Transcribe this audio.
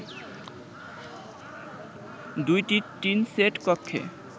দুইটি tin set কক্ষে